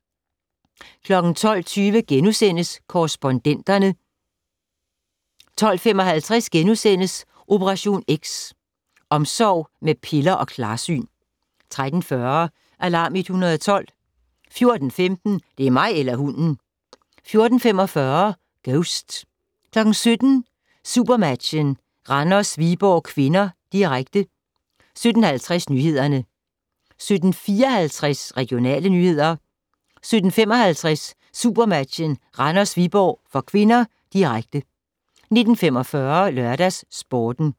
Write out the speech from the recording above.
12:20: Korrespondenterne * 12:55: Operation X: Omsorg med piller og klarsyn * 13:40: Alarm 112 14:15: Det er mig eller hunden! 14:45: Ghost 17:00: SuperMatchen: Randers-Viborg (k), direkte 17:50: Nyhederne 17:54: Regionale nyheder 17:55: SuperMatchen: Randers-Viborg (k), direkte 19:45: LørdagsSporten